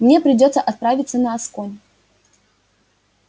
мне придётся отправиться на асконь